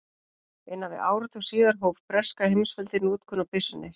Innan við áratug síðar hóf breska heimsveldið notkun á byssunni.